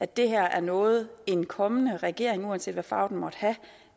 det her noget en kommende regering uanset hvad farve den måtte have